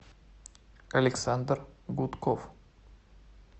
александр гудков